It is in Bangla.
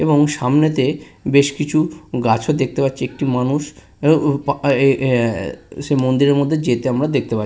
এবং সামনে তে বেশ কিছু গাছও দেখতে পাচ্ছি একটি মানুষ আ উ এ এ এ আ সে মন্দিরের মধ্যে যেতে আমরা দেখতে পা--